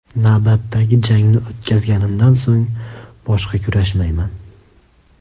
Navbatdagi jangni o‘tkazganimdan so‘ng boshqa kurashmayman”.